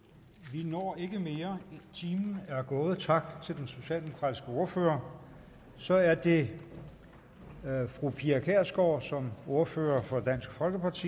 vi når ikke mere timen er gået tak til den socialdemokratiske ordfører så er det fru pia kjærsgaard som ordfører for dansk folkeparti